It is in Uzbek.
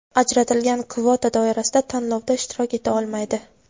ajratilgan kvota doirasida tanlovda ishtirok eta olmaydi.